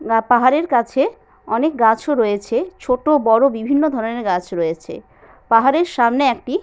না পাহাড়ের কাছে অনেক গাছ ও রয়েছে | ছোট বড় বিভিন্ন ধরনের গাছ রয়েছে |পাহাড়ের সামনে একটি --